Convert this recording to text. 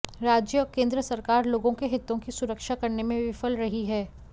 राज्य और केंद्र सरकार लोगों के हितों की सुरक्षा करने में विफल रही है